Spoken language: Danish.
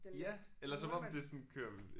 Ja. Eller som om det sådan kører